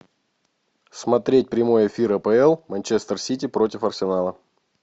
смотреть прямой эфир апл манчестер сити против арсенала